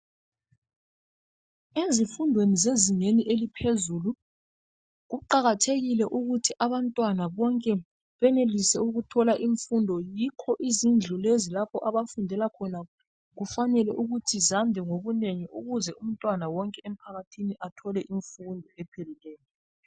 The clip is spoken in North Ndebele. ezifundweni zezingeni eliphezulu kuqakathekile ukuthi abantwana benelise ukuthola imfundo yikho izindlu lezi lapho abafundela khona kufanele ukuthi zande ngobunengi ukuze umntwana wonke emphakathini athole imfundo ephepheleyo